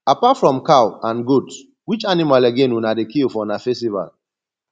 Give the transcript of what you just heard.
apart from cow and goat which animal again una dey kill for una festival